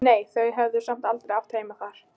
En nei, þau höfðu samt aldrei átt heima þar.